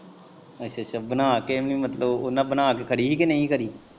ਅੱਛਾ ਅੱਛਾ ਬਣਾ ਕੇ ਨੀ ਮਤਲਬ ਉਨਾਂ ਬਣਾ ਕੇ ਖੜੀ ਹੀ ਕ ਨਹੀ ਹੀ ਖੜੀ?